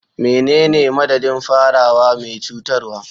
Menene madadin farawa mai cutarwa?